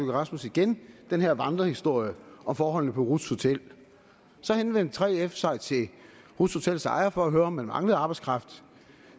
rasmussen igen den her vandrehistorie om forholdene på ruths hotel så henvendte 3f sig til ruths hotels ejer for at høre om man manglede arbejdskraft